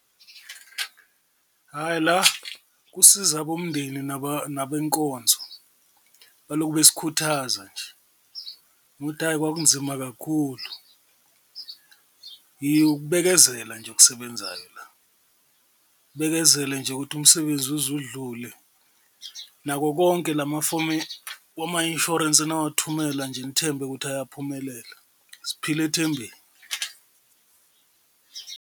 Hhayi la kusiza bomndeni nabenkonzo baloku besikhuthaza nje hhayi kwakunzima kakhulu, ukubekezela nje okusebenzayo la, ubekezele nje ukuthi umsebenzi uze udlule nako konke la mafomi wama-insurance enawathumela nje nithembe ukuthi eyaphumelela, siphila ethembeni.